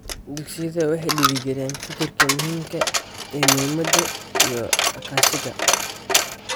Dugsiyadu waxay dhiirigeliyaan fikirka muhiimka ah ee midnimada iyo iskaashiga.